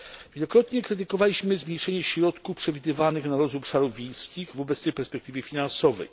Wielokrotnie krytykowaliśmy zwiększenie środków przewidywanych na rozwój obszarów wiejskich w obecnej perspektywie finansowej.